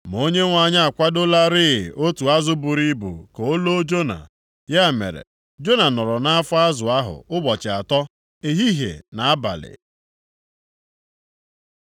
Ma Onyenwe anyị akwadolarị otu azụ buru ibu ka o loo Jona. Ya mere, Jona nọrọ nʼafọ azụ ahụ ụbọchị atọ, ehihie na abalị.